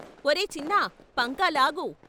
"ఒరే చిన్నా పంకా లాగు.